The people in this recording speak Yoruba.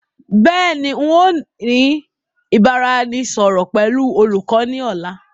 Beeni, ǹ yóò ní ìbáraẹnisọọ̀rọ̀ pẹ̀lú olùkọ́ náà ni ọ̀la.